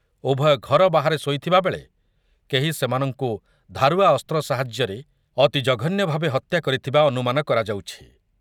ଉଭୟ ଘର ବାହାରେ ଶୋଇଥିବା ବେଳେ କେହି ସେମାନଙ୍କୁ ଧାରୁଆ ଅସ୍ତ୍ର ସାହାଯ୍ୟରେ ଅତି ଜଘନ୍ୟ ଭାବେ ହତ୍ୟା କରିଥିବା ଅନୁମାନ କରାଯାଉଛି ।